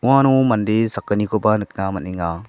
uano mande sakgnikoba nikna man·enga.